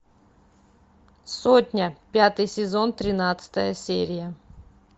сотня пятый сезон тринадцатая серия